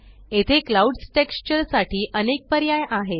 येथे clouds texture साठी अनेक पर्याय आहेत